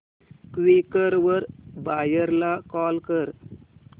Quikr वर buyer ला call कर